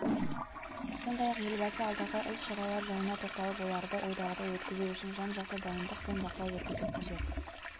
сондай-ақ елбасы алдағы іс-шаралар жайына тоқталып оларды ойдағыдай өткізу үшін жан-жақты дайындық пен бақылау жүргізу қажет